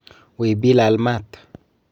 Wiy bilal maat.